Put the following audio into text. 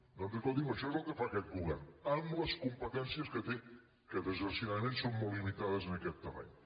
doncs escolti’m això és el que fa aquest govern amb les competències que té que desgraciadament són molt limitades en aquest terreny